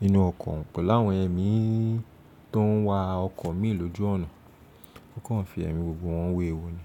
nínú ọkọ̀ kọ̀ pelu áwọn èmí tó ń wa ọkọ̀ míì lójú ọ̀nà, ó kàn fi èmí gbogbo wọn wéwu ni.